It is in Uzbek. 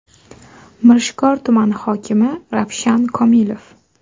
Mirishkor tumani hokimi Ravshan Komilov!!!